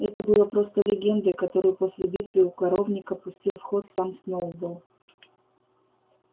это было просто легендой которую после битвы у коровника пустил в ход сам сноуболл